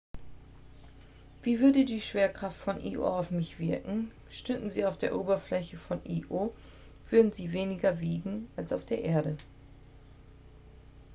wie würde die schwerkraft von io auf mich wirken stünden sie auf der oberfläche von io würden sie weniger wiegen als auf der erde